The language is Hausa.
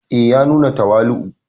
E, ya nuna tawali'u.